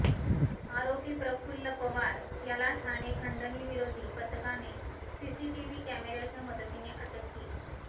आरोपी प्रफुल्ल पवार याला ठाणे खंडणीविरोधी पथकाने सीसीटीव्ही कॅमेराच्या मदतीने अटक केली